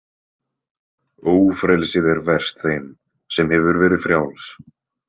Ófrelsið er verst þeim sem hefur verið frjáls.